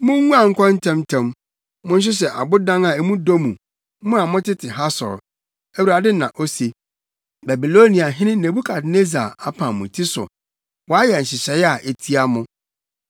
“Munguan nkɔ ntɛmntɛm! Monhyehyɛ abodan a mu dɔ mu, mo a motete Hasor,” Awurade na ose. “Babiloniahene Nebukadnessar apam mo ti so; wayɛ nhyehyɛe a etia mo.